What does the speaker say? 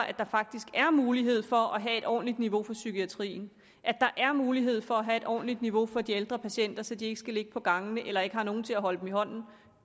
at der faktisk er mulighed for at have et ordentligt niveau for psykiatrien at der er mulighed for at have et ordentligt niveau for de ældre patienter så de ikke skal ligge på gangene eller ikke har nogen til at holde dem i hånden